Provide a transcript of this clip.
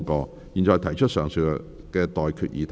我現在向各位提出上述待決議題。